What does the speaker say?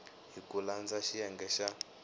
hi ku landza xiyenge xa